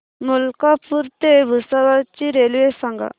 मलकापूर ते भुसावळ ची रेल्वे सांगा